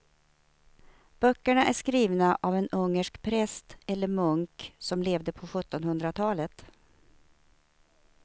Böckerna är skrivna av en ungersk präst eller munk som levde på sjuttonhundratalet.